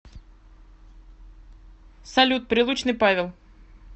салют прилучный павел